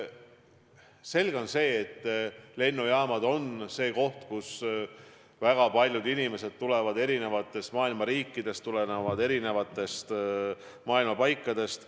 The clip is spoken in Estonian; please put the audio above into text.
Selge on, et lennujaamad on koht, kuhu väga paljud inimesed tulevad maailma eri riikidest, maailma eri paikadest.